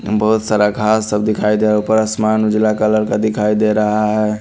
बहोत सारा घास सब दिखाई दे रहा है ऊपर आसमान उजला कलर का दिखाई दे रहा है।